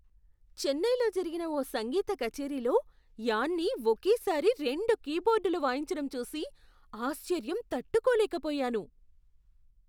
చెన్నైలో జరిగిన ఓ సంగీత కచేరీలో యాన్నీ ఒకేసారి రెండు కీబోర్డులు వాయించటం చూసి ఆశ్చర్యం తట్టుకోలేకపోయాను.